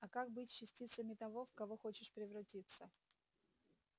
а как быть с частицами того в кого хочешь превратиться